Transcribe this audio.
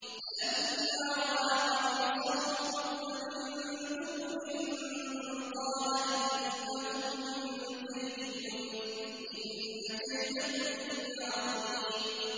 فَلَمَّا رَأَىٰ قَمِيصَهُ قُدَّ مِن دُبُرٍ قَالَ إِنَّهُ مِن كَيْدِكُنَّ ۖ إِنَّ كَيْدَكُنَّ عَظِيمٌ